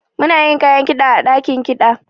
Muna da kayan kida ã dakin kida.